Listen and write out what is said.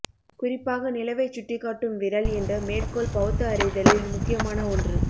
குறிப்பாக நிலவைச்சுட்டிக்காட்டும் விரல் என்ற மேற்கோள் பௌத்த அறிதலில் முக்கியமான ஒன்று